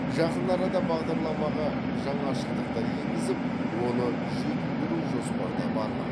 жақын арада бағдарламаға жаңашылдықтар енгізіп оны жетілдіру жоспарда бар ма